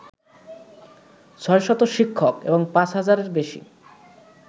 ৬শত শিক্ষক এবং ৫ হাজারের বেশি